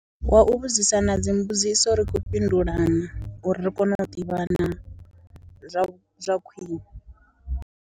Wa u vhudzisana dzimbudziso ri khou fhindulana, uri ri kone u ḓivhana zwa zwa khwine.